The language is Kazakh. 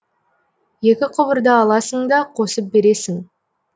екі құбырды аласың да қосып бересің